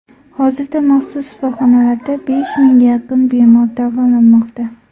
Hozirda maxsus shifoxonalarda besh mingga yaqin bemor davolanmoqda.